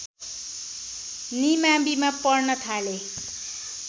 निमाविमा पढ्न थाले